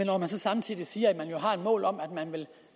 når man så samtidig siger at man har et mål om